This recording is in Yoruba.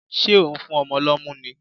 Ṣé ò ń fún ọmọ lọ́mú ni?